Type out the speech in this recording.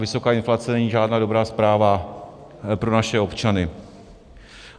Vysoká inflace není žádná dobrá zpráva pro naše občany.